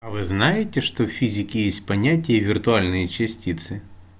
а вы знаете что в физике есть понятие виртуальные частицы